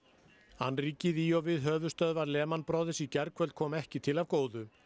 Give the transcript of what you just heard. annríkið í og við höfuðstöðvar Brothers í gærkvöld kom ekki til af góðu